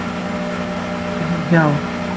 Því sæti hún hjá.